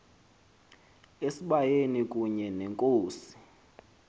esibayeni kunye nenkosi